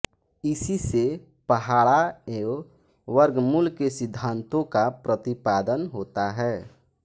इसी से पहाड़ा एवं वर्गमूल के सिद्धांतों का प्रतिपादन होता है